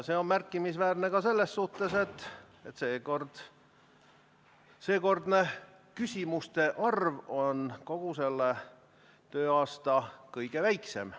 See on märkimisväärne ka selles suhtes, et seekordne küsimuste arv on kogu selle tööaasta kõige väiksem.